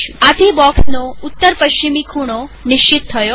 આથી બોક્ષનો ઉત્તર પશ્ચિમી ખૂણો નિશ્ચિત થયો